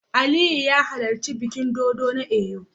Aliyu ya halarci bikin dodo na Eyo